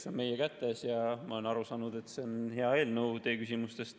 See on meie kätes ja ma olen teie küsimustest aru saanud, et see on hea eelnõu.